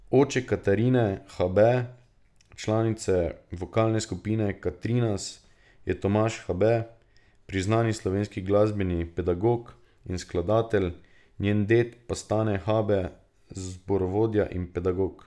Oče Katarine Habe, članice vokalne skupine Katrinas, je Tomaž Habe, priznani slovenski glasbeni pedagog in skladatelj, njen ded pa Stane Habe, zborovodja in pedagog.